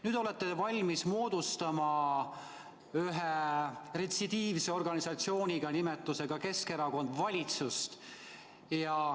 Nüüd olete te valmis moodustama ühe retsidiivse organisatsiooniga, mille nimi on Keskerakond, valitsust.